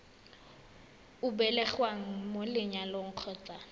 o belegweng mo lenyalong kgotsa